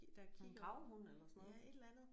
En gravhund eller sådan noget